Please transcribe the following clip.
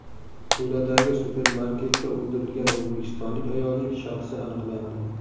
Tuladagi supermarketda o‘ldirilgan o‘zbekistonlik ayolning shaxsi aniqlandi.